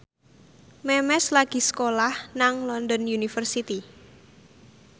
Memes lagi sekolah nang London University